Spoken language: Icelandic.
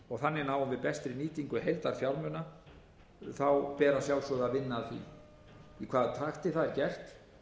og þannig náum við bestri nýtingu heildarfjármuna ber að sjálfsögðu að vinna að því í hvaða takti það er gert